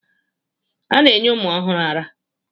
A na-enye ụmụ ọhụrụ árá.